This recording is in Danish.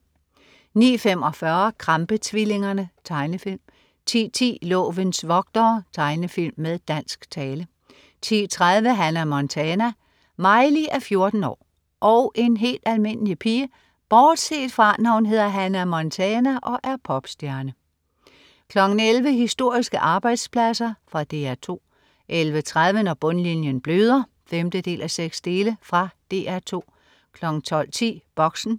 09.45 Krampe-tvillingerne. Tegnefilm 10.10 Lovens vogtere. Tegnefilm med dansk tale 10.30 Hannah Montana. Miley er 14 år og en helt almindelig pige bortset fra, når hun hedder Hannah Montana og er popstjerne 11.00 Historiske arbejdspladser. Fra DR 2 11.30 Når bundlinjen bløder 5:6. Fra DR 2 12.10 Boxen